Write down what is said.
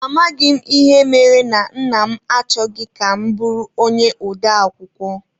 Amaghị m ịhe mere na Nna m achọghị ka m bụrụ onye ode akụkọ.